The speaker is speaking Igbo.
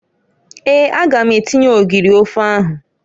Eeǃ A ga m atinye ogiri ofe ahụ.